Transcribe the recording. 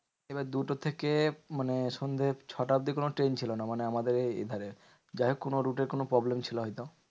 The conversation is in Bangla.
এবার দুটো থেকে মানে সন্ধে ছটা অব্দি কোনো ট্রেন ছিল না মানে আমাদের এ ধারে। যাইহোক কোনো route এর কোনো problem ছিল হয়তো।